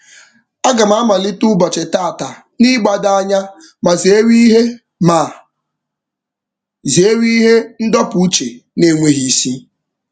Aga m amalite ụbọchị tata n'ịgbado anya ma zeere ihe ma zeere ihe ndọpụ uche n'enweghị isi.